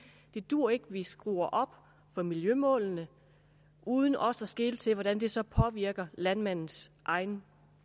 det duer ikke at vi skruer op for miljømålene uden også at skele til hvordan det så påvirker landmandens egen